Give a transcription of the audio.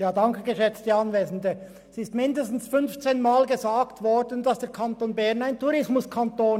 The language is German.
Es wurde mindestens fünfzehn Mal gesagt, der Kanton Bern sei ein Tourismuskanton.